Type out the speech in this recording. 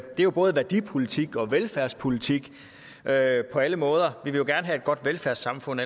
jo både værdipolitik og velfærdspolitik på alle på alle måder vi vil gerne have et godt velfærdssamfund